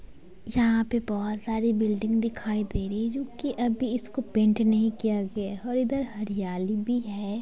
यहां पे बहुत सारी बिल्डिंग दिखाई दे रही है जो की अभी इसको पेंट नहीं किया गया है और इधर हरियाली भी है।